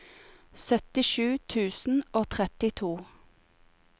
syttisju tusen og trettito